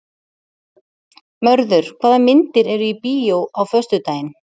Mörður, hvaða myndir eru í bíó á föstudaginn?